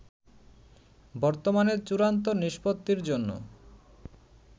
বর্তমানে চূড়ান্ত নিষ্পত্তির জন্য